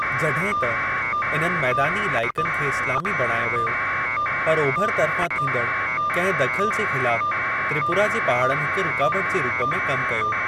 जॾहिं त, इन्हनि मैदानी इलाइक़नि खे इस्लामी बणायो वियो, पर ओभर तर्फ़ां थींदड़ कहिं दख़ल जे ख़िलाफ त्रिपुरा जे पहाड़नि हिक रुकावट जे रूप में कम कयो।